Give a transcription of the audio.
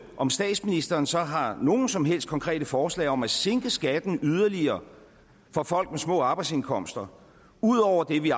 om statsministeren så har nogen som helst konkrete forslag om at sænke skatten yderligere for folk med små arbejdsindkomster ud over det vi